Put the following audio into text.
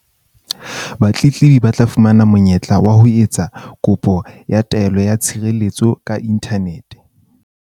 Batletlebi ba tla fumana monye-tla wa ho etsa kopo ya taelo ya tshirelletso ka inthanete.